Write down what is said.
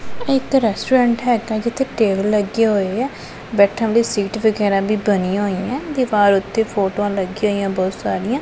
ਏਹ ਇੱਕ ਰੈਸਟੂਰੈਂਟ ਹੈਗਾ ਹੈ ਜਿੱਥੇ ਟੇਬਲ ਲੱਗੇ ਹੋਏ ਹੈ ਬੈਠਣ ਲਈ ਸੀਟ ਵਗੈਰਾ ਵੀ ਬਣਿਆ ਹੋਈ ਹੈਂ ਦਿਵਾਰ ਓੱਤੇ ਫ਼ੋਟੋਆਂ ਲੱਗੀਆਂ ਹੋਈ ਹੈਂ ਬੋਹੁਤ ਸਾਰੀਆਂ।